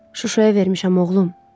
Şuşaya vermişəm, oğlum.